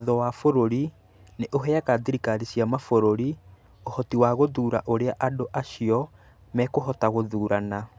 Watho wa bũrũri nĩ ũheaga thirikari cia mabũrũri ũhoti wa gũthuura ũrĩa andũ a cio mekũhota gũthuurana.